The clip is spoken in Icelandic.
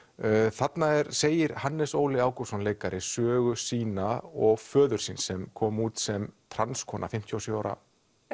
þarna segir Hannes Óli Ágústsson leikari sögu sína og föður síns sem kom út sem fimmtíu og sjö ára